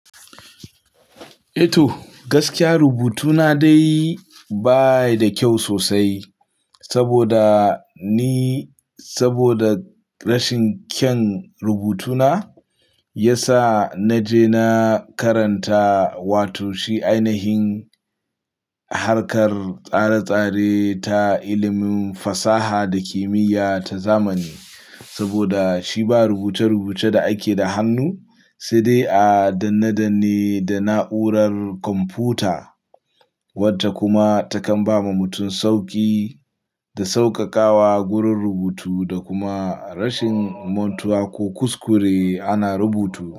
Ito gaskiya rubutuna dai ba yi da kyau sosai saboda ni, saboda rashin kyan rubutuna ya sa na je na karanta, wato shi ainihin harkar tsare-tsare ta ilimin fasaha da kimiyya ta zamani. Saboda shi ba rubuce-rubuce da ake da hannu, sai dai a danne-danne da na'urar kwamfuta wata kuma takan ba ma mutum sauƙi da sauƙaƙawa gurin rubutu da kuma rashin mantuwa ko kuskure ana rubutu.